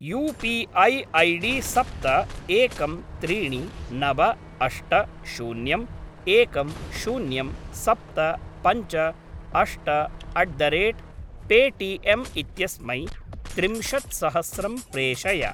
You P I ID सप्त एकं त्रीणि नव अष्ट शून्यम् एकं शून्यं सप्त पञ्च अष्ट अट् द रेट् पेटिएम् इत्यस्मै त्रिंशत्सहस्रं प्रेषय।